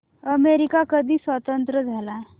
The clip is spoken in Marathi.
अमेरिका कधी स्वतंत्र झाला